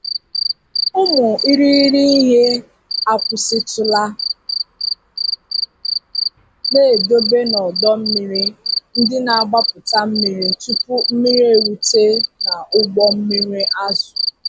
Ụmụ irighiri ihe akwụsịtụla na-edobe n'ọdọ mmiri ndị na-agbapụta mmiri tupu mmiri erute n'ụgbọ mmiri azụ.